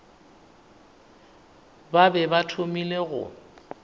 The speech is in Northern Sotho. ba be ba thomile go